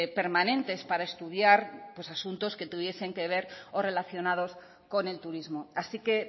permanentes para estudiar asuntos que tuviesen que ver o relacionados con el turismo así que